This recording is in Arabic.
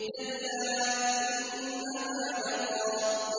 كَلَّا ۖ إِنَّهَا لَظَىٰ